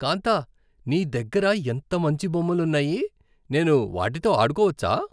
కాంతా, నీ దగ్గర ఎంత మంచి బొమ్మలున్నాయి. నేను వాటితో ఆడుకోవచ్చా?